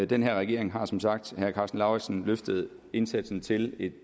den her regering har som sagt løftet indsatsen til et